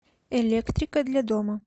электрика для дома